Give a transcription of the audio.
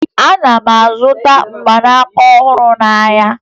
Ana m azụta mgbanaka ọhụrụ n'ahịa